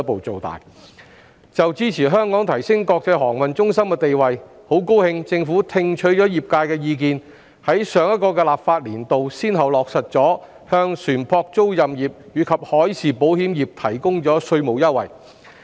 就支持香港提升國際航運中心地位，很高興政府聽取了業界意見，於上一個立法年度先後落實向船舶租賃業及海事保險業提供稅務優惠。